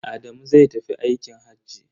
Adamu zai tafi aikin hajji.